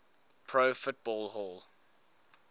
pro football hall